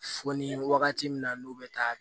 Fo ni wagati min na n'u bɛ taa